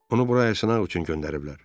Onu bura yoxlamaq üçün göndəriblər.